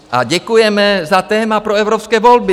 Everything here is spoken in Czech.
A děkujeme za téma pro evropské volby!